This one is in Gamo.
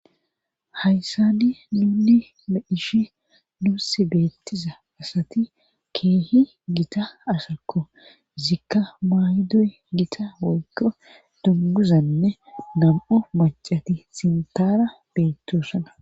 hayssani nunni meishi nuus beettiza asati keehi gita asakko zikka maaydoy gita woykko dunguzanne nam7u macati sintaara beettosana